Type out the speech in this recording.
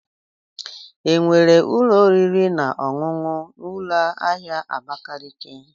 Enwere ụlọ oriri na ọṅụṅụ na ụlọ ahịa Abakaliki.